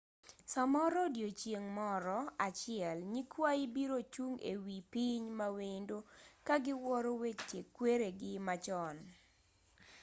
samoro odiochieng' moro achiel nyikwayi biro chung ewi piny mawendo kagiwuoro weche kweregi machon